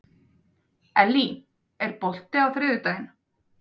Ellý, er bolti á þriðjudaginn?